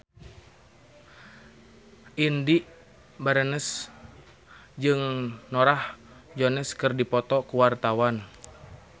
Indy Barens jeung Norah Jones keur dipoto ku wartawan